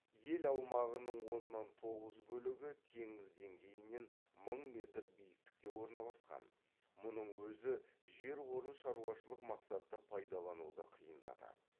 ел аумағының оннан тоғыз бөлігі теңіз деңгейінен мың метр биіктікте орналасқан мұның өзі жер қорын шаруашылық мақсатта пайдалануды қиындатады